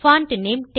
font name